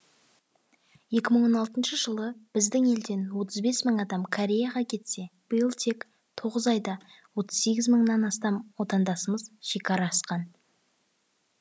екі мың он алтыншы жылы біздің елден отыз бес мың адам кореяға кетсе биыл тек тоғыз айда отыз сегіз мыңнан астам отандасымыз шекара асқан